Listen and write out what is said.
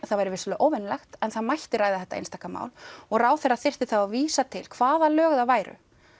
það væri vissulega óvenjulegt en það mætti ræða þetta einstaka mál og ráðherra þyrfti þá að vísa til hvaða lög það væru